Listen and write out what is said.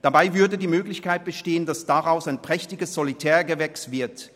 Dabei würde die Möglichkeit bestehen, dass daraus ein prächtiges Solitärgewächs wird.